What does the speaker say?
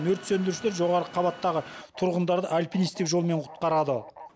өрт сөндірушілер жоғарғы қабаттағы тұрғындарды альпинистік жолмен құтқарады